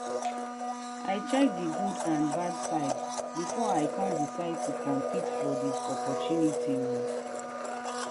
i check di good and bad side before i con decide to compete for di opportunity oo.